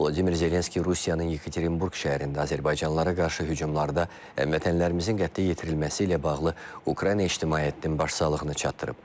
Vladimir Zelenski Rusiyanın Yekaterinburq şəhərində azərbaycanlılara qarşı hücumlarda həmvətənlərimizin qətlə yetirilməsi ilə bağlı Ukrayna ictimaiyyətinin başsağlığını çatdırıb.